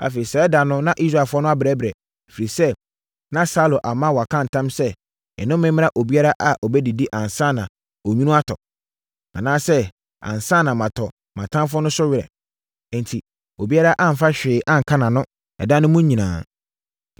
Afei, saa ɛda no na Israelfoɔ no abrɛbrɛ, ɛfiri sɛ, na Saulo ama wɔaka ntam sɛ, “Nnome mmra obiara a ɔbɛdidi ansa na onwunu atɔ, anaasɛ ansa matɔ mʼatamfoɔ no so were.” Enti, obiara amfa hwee anka nʼano ɛda mu no nyinaa,